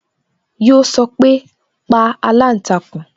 Yo sọpe "pa aláǹtakùn"